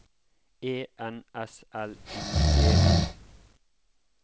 E N S L I G